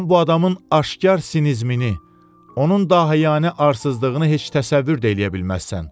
Sən bu adamın aşkar sinizmini, onun dahiyani arsızlığını heç təsəvvür də eləyə bilməzsən.